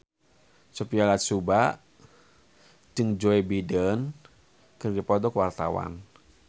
Sophia Latjuba jeung Joe Biden keur dipoto ku wartawan